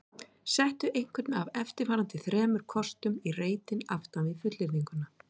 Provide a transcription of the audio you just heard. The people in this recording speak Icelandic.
Settu einhvern af eftirfarandi þremur kostum í reitinn aftan við fullyrðinguna